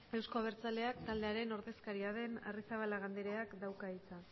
euzko abertzaleak taldearen ordezkaria den arrizabalaga andreak dauka hitza